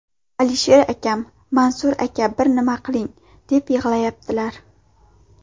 Alisher akam ‘Mansur aka bir nima qiling‘, deb yig‘layaptilar.